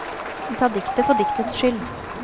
De tar diktet for diktets skyld.